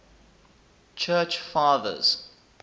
church fathers